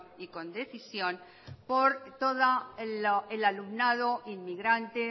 y con decisión por todo el alumnado inmigrante